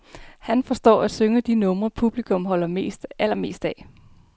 Han forstår at synge de numre, publikum holder allermest af.